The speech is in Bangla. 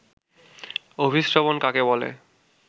অভিস্রবণ কাকে বলে